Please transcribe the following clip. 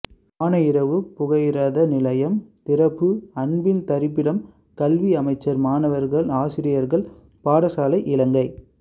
ஆணையிறவு புகையிரத நிலையம் திறப்பு அன்பின் தரிப்பிடம் கல்வி அமைச்சர் மாணவர்கள் ஆசிரியர்கள் பாடசாலை இலங்கை